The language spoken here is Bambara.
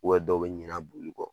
dɔw bɛ ɲina boli kɔ